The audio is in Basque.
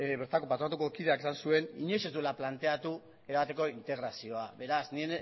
bertako patronatuko kideak esan zuen inoiz ez duela planteatu erabateko integrazioa beraz ni